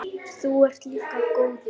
Þú ert líka góður.